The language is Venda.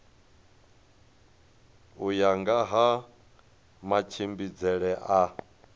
u ya nga matshimbidzele a